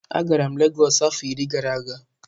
Agara m Lagos afo iri gara aga.